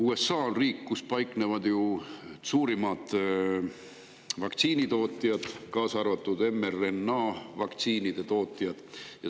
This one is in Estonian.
USA on riik, kus paiknevad suurimad vaktsiinitootjad, kaasaarvatud mRNA-vaktsiinide tootjad.